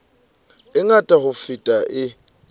e ngata ho feta e